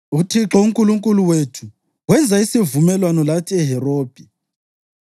UThixo uNkulunkulu wethu wenza isivumelwano lathi eHorebhi.